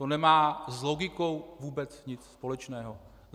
To nemá s logikou vůbec nic společného.